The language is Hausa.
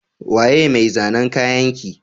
Waye mai zanan kayanki?